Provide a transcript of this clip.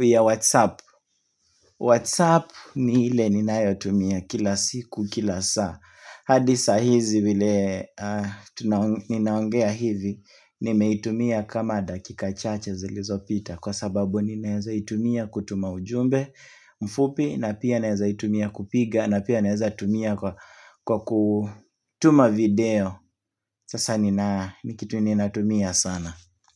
ya whatsapp Whatsapp ni ile ninayo tumia kila siku kila saa hadi saa hizi vile ninaongea hivi nimeitumia kama dakika chache zilizopita Kwa sababu ninaeza itumia kutuma ujumbe mfupi na pia ninaeza itumia kupiga na pia naweza tumia kwa kutuma video Sasa ni kitu ni natumia sana.